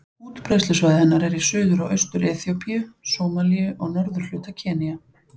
Útbreiðslusvæði hennar er í Suður- og Austur-Eþíópíu, Sómalíu og norðurhluta Kenýa.